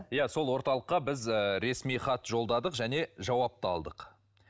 иә сол орталыққа біз ы ресми хат жолдадық және жауап та алдық